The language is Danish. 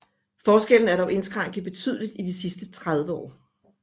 Forskellen er dog indskrænket betydeligt i de sidste 30 år